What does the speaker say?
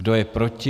Kdo je proti?